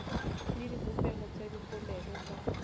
le dibopeho tsa dipolelo ka